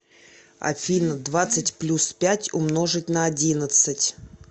афина двадцать плюс пять умножить на одиннадцать